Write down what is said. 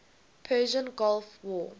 persian gulf war